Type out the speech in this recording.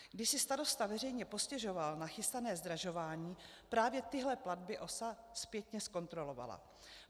Když si starosta veřejně postěžoval na chystané zdražování, právě tyhle platby OSA zpětně zkontrolovala.